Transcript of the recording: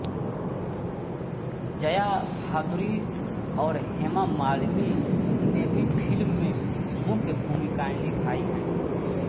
जया भादुरी और हेमा मालिनी ने भी फ़िल्म में मुख्य भूमिकाऐं निभाई हैं